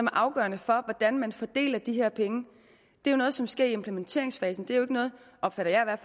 afgørende for hvordan man fordeler de her penge det er noget som sker i implementeringsfasen det er jo ikke noget opfatter jeg